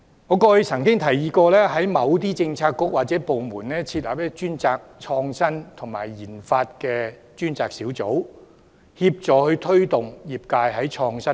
我曾提議在某些政策局或部門設立負責創新和研發的專責小組，協助業界推動創新。